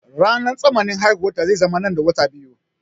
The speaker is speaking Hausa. Ranar tsammanin haihuwarta zai zama nan da wata biyu.